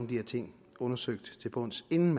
de her ting undersøgt til bunds inden